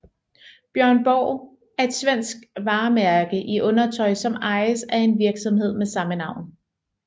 Björn Borg er et svensk varemærke i undertøj som ejes af en virksomhed med samme navn